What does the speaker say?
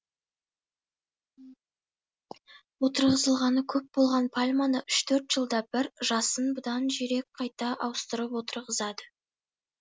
отырғызылғаны көп болған пальманы үш төрт жылда бір жасын бұдан жирек қайта ауыстырып отырғызады